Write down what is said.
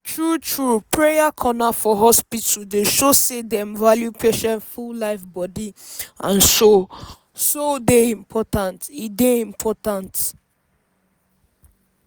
true true! prayer corner for hospital dey show say dem value patient full life body and soul soul dey important. e dey important.